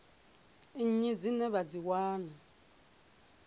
nnyi dzine vha dzi wana